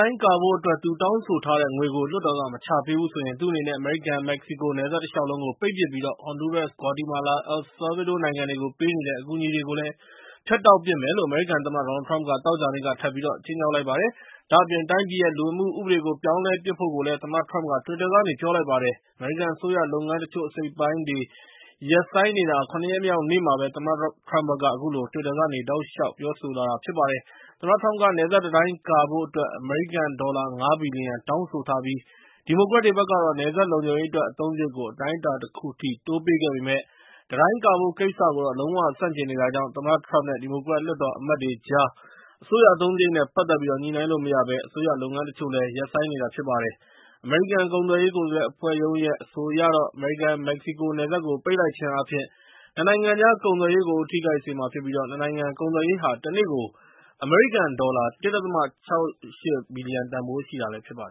ိုင်းကာဖို့အတွက် သူတောင်းဆိုထားတဲ့ ငွေကို လွှတ်တော်က မချပေးဘူးဆိုရင် သူ့အနေနဲ့ အမေရိကန်-မက္ကဆီကို နယ်စပ်တလျှောက်လုံးကို ပိတ်ပစ်ပြီး ဟွန်ဒူးရပ်စ်၊ ဂွါတီမာလာနဲ့ အယ်လ်ဆာ ဗေးဒိုးနိုင်ငံတွေကို ပေးနေတဲ့ အကူအညီတွေကို ဖြတ်တောက်ပစ်မယ်လို့ အမေရိကန်သမ္မတ ဒေါ်နယ်လ် ထရမ့်က သောကြာနေ့က ထပ်ပြီး ခြိမ်းခြောက်လိုက်ပါတယ်။ ဒါ့အပြင် တိုင်းပြည်ရဲ့ လူဝင်မှုဥပဒေကို ပြောင်းလဲဖို့ကိုလည်း သမ္မတထရမ့်က တွစ်တာကနေ ပြောလိုက်ပါ တယ်။ အမေရိကန်အစိုးရလုပ်ငန်း တချို့အစိတ်အပိုင်းတွေ ရပ်ဆိုင်းနေတာ ၇ ရက်မြောက်နေ့မှာပဲ သမ္မတ ထရမ့်ဘက်က အခုလို တွစ်တာကနေ တောက်လျှောက်ပြောဆိုလာ နေတာဖြစ်ပါတယ်။ သမ္မတထရမ့်က နယ်စပ်တံတိုင်းကာဖို့ အမေရိကန်ဒေါ်လာ ၅ ဘီလီယံတောင်းဆိုထားပြီး ဒီမိုကရက်တွေဘက်ကတော့ နယ်စပ်လုံခြုံရေးအတွက် အသုံးစရိတ်ကို အတိုင်းအတာတခုအထိ တိုးပေးခဲ့ပေမယ့် တံတိုင်းကာဖို့ကိစ္စကိုတော့ လုံးဝကို ဆန့်ကျင်နေတာကြောင့် သမ္မတထရမ့် နဲ့ ဒီမိုကရက်လွှတ်တော်အမတ်တွေကြားအစိုးရအသုံးစရိတ် နဲ့ ပတ်သက်ပြီး ညှိနှိုင်းလို့မရဘဲ အစိုးရလုပ်ငန်းတချို့ရပ်ဆိုင်းနေရတာဖြစ်ပါတယ်။ အမေရိကန်ကုန်သွယ်ရေးကိုယ်စားလှယ်အဖွဲ့ရုံးရဲ့ အဆိုအရတော့ အမေရိကန် မက္ကဆီကို နယ်စပ်ကို ပိတ်လိုက်ခြင်းအားဖြင့် ၂ နိုင်ငံကြား ကုန်သွယ်ရေးကို ထိခိုက်စေမှာဖြစ်ပြီး ၂ နိုင်ငံကုန်သွယ်ရေးဟာ ၁ နေ့ကို အမေရိကန်ဒေါ်လာ ၁.၆၈ ဘီလီယံတန်ဖိုးရှိတာ ဖြစ်ပါတ